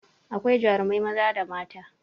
Akwai jarumai maza da mata